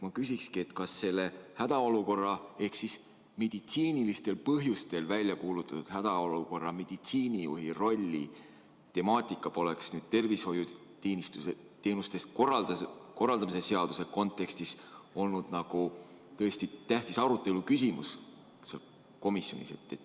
Ma küsingi, et kas selle hädaolukorra ehk meditsiinilistel põhjustel välja kuulutatud hädaolukorra meditsiinijuhi rolli temaatika poleks selle tervishoiuteenuste korraldamise seaduse kontekstis olnud komisjonis tähtis aruteluküsimus.